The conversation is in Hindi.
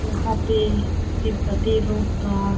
यहाँ पे तिबत्तॆ लोग का --